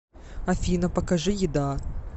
афина покажи еда